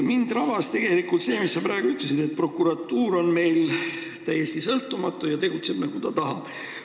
Mind rabas see, mis sa praegu ütlesid, et prokuratuur on meil täiesti sõltumatu ja tegutseb, nagu tahab.